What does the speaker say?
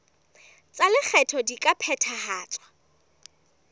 tsa lekgetho di ka phethahatswa